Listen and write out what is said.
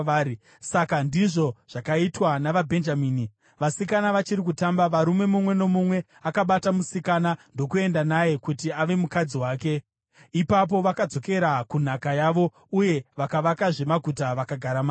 Saka ndizvo zvakaitwa navaBhenjamini. Vasikana vachiri kutamba, murume mumwe nomumwe akabata musikana ndokuenda naye kuti ave mukadzi wake. Ipapo vakadzokera kunhaka yavo uye vakavakazve maguta vakagara maari.